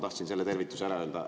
Tahtsin selle tervituse ära öelda.